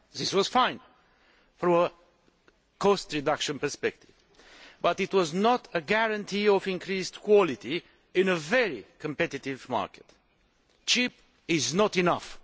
That was fine from a cost reduction perspective, but it was not a guarantee of increased quality in a very competitive market. Cheap is not enough.